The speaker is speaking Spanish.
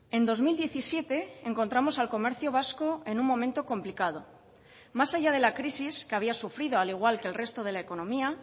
en dos mil diecisiete encontramos al comercio vasco en un momento complicado más allá de la crisis que había sufrido al igual que el resto de la economía